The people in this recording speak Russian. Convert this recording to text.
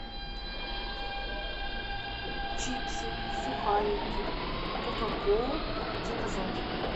чипсы сухарики кока колу заказать